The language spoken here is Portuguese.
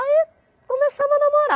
Aí começamos a namorar.